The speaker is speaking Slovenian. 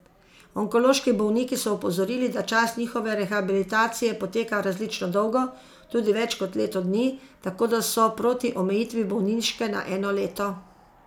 Onkološki bolniki so opozorili, da čas njihove rehabilitacije poteka različno dolgo, tudi več kot leto dni, tako da so proti omejitvi bolniške na eno leto.